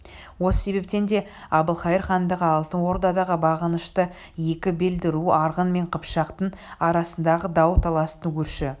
осы себептен де әбілқайыр хандығы алтын ордаға бағынышты екі белді ру арғын мен қыпшақтың арасындағы дау таластың өрши